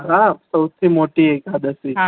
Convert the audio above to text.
હા સૌથી મોટી એકાદશી